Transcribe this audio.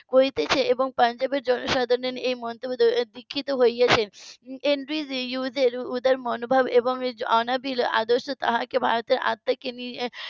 করছে এবং পাঞ্জাবের জনসাধারণ এই মন্তব্যে দীক্ষিত হয়েছেন . উদার মনোভাব এবং অনাবিল আদর্শ তাকে ভারতের আত্মাকে